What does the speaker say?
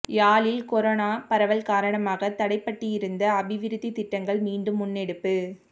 யாழில் கொரோனா பரவல் காரணமாக தடைப்பட்டிருந்த அபிவிருத்தி திட்டங்கள் மீண்டும் முன்னெடுப்பு